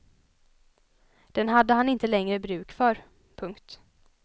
Den hade han inte längre bruk för. punkt